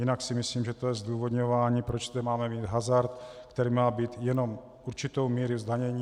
Jinak si myslím, že to je zdůvodňování, proč tu máme mít hazard, který má mít jenom určitou míru zdanění.